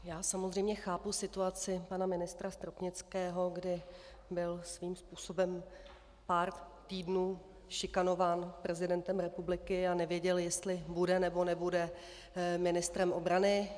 Já samozřejmě chápu situaci pana ministra Stropnického, kdy byl svým způsobem pár týdnů šikanován prezidentem republiky a nevěděl, jestli bude, nebo nebude ministrem obrany.